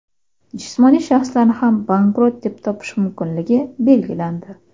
Jismoniy shaxslarni ham bankrot deb topish mumkinligi belgilandi.